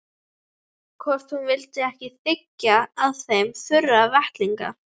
Hvort hún vildi ekki þiggja af þeim þurra vettlinga.